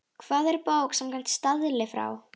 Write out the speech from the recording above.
Hvað er bók samkvæmt staðli frá